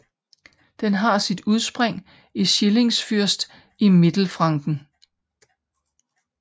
Den har sit udspring i Schillingsfürst i Mittelfranken